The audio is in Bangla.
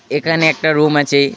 এখানে একটা রুম আছে.